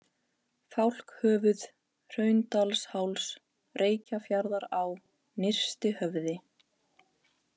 Fálkhöfuð, Hraundalsháls, Reykjafjarðará, Nyrstihöfði